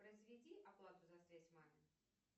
произведи оплату за связь маме